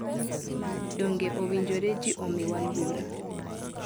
Donge owinjore ji omiwa luor?